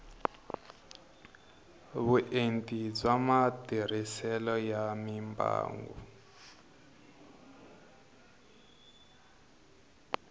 vuenti bya matirhiselo ya mimbangu